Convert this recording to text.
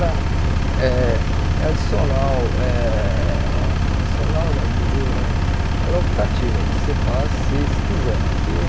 Eh é adicional, eh adicional não, digo eh ela é optativa, você faz se se quiser que.